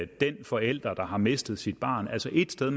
den forælder der har mistet sit barn altså et sted